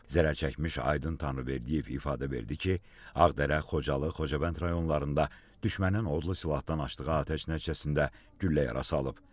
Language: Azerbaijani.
Zərər çəkmiş Aydın Tanrıverdiyev ifadə verdi ki, Ağdərə, Xocalı, Xocavənd rayonlarında düşmənin odlu silahdan açdığı atəş nəticəsində güllə yarası alıb.